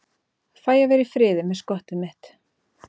Fæ að vera í friði með skottið mitt.